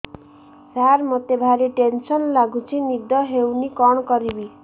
ସାର ମତେ ଭାରି ଟେନ୍ସନ୍ ଲାଗୁଚି ନିଦ ହଉନି କଣ କରିବି